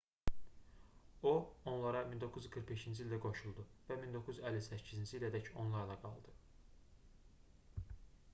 o onlara 1945-ci ildə qoşuldu və 1958-ci ilədək onlarla qaldı